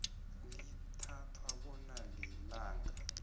lithathwa bona lilingana